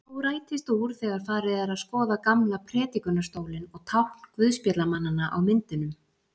Þó rætist úr þegar farið er að skoða gamla prédikunarstólinn og tákn guðspjallamannanna á myndunum.